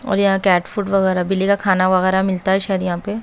और यहां cat food बिलेगा खाना वगैरा मिलता है शायद यहां पे।